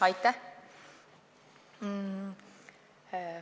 Aitäh!